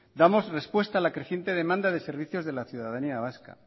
damos respuesta a la creciente demanda de servicios de la ciudadanía vasca